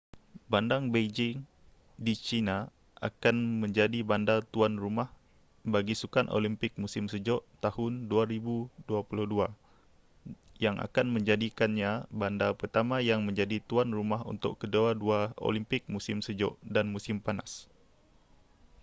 bandar beijing di china akan menjadi bandar tuan rumah bagi sukan olimpik musim sejuk tahun 2022 yang akan menjadikannya bandar pertama yang menjadi tuan rumah untuk kedua-dua olimpik musim sejuk dan musim panas